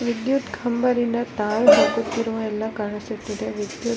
ವಿದ್ಯುತ್ ಕಂಭ ದಿಂದ ಎಲ್ಲ ಕಾಣಿಸುತ್ತಿದೆ ವಿದ್ಯುತ್ --